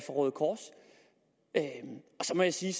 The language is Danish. røde kors og så må jeg sige